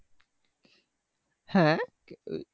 হ্যাঁ